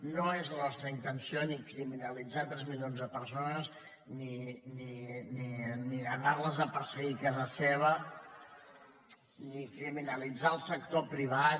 no és la nostra intenció ni criminalitzar tres milions de persones ni anar les a perseguir a casa seva ni criminalitzar el sector privat